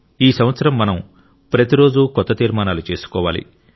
ఈ సంవత్సరం మనం ప్రతిరోజూ కొత్త తీర్మానాలు చేసుకోవాలి